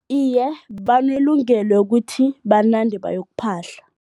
Iye, banelungelo kuthi banande bayokuphahla.